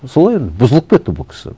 солай бұзылып кетті бұл кісі